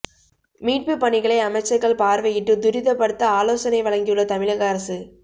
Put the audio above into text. மீட்புப் பணிகளை அமைச்சர்கள் பார்வையிட்டு துரிதப்படுத்த ஆலோசனை வழங்கியுள்ள தமிழக அரசு